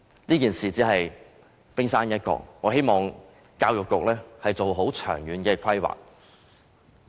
此事只是冰山一角，我希望教育局做好長遠規劃。